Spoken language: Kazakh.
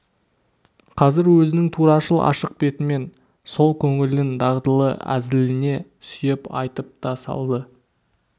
қазір өзінің турашыл ашық бетімен сол көңілін дағдылы әзіліне сүйеп айтып та салды